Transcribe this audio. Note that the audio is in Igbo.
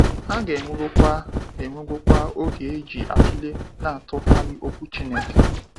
A ga ewego kwa ewego kwa oge eji atụlee na atụghalị okwu Chineke.